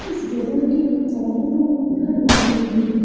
इस जगह के चारो ओर घर बने हुए है।